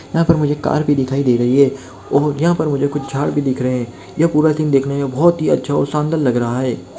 यहां पर मुझे कार भी दिखाई दे रही है और यहा पर मुझे कुछ झाड़ भी दिख रहे है यह पूरा सिन देखने में बहोत ही अच्छा और शानदार लग रहा है।